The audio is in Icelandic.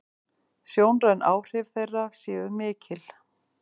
Sjónræn áhrif þeirra séu mikil.